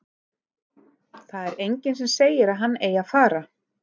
Það er enginn sem segir að hann eigi að fara.